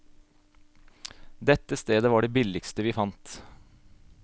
Dette stedet var det billigste vi fant.